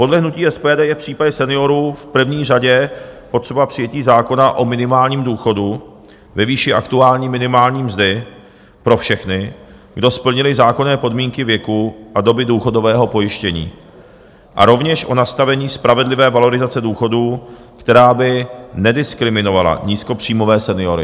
Podle hnutí SPD je v případě seniorů v první řadě potřeba přijetí zákona o minimálním důchodu ve výši aktuální minimální mzdy pro všechny, kdo splnili zákonné podmínky věku a doby důchodového pojištění, a rovněž o nastavení spravedlivé valorizace důchodů, která by nediskriminovala nízkopříjmové seniory.